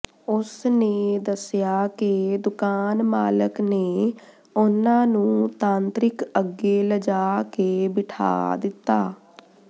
ਉਸ ਨੇ ਦੱਸਿਆ ਕਿ ਦੁਕਾਨ ਮਾਲਕ ਨੇ ਉਨ੍ਹਾਂ ਨੂੰ ਤਾਂਤਰਿਕ ਅੱਗੇ ਲਜਾ ਕੇ ਬਿਠਾ ਦਿੱਤਾ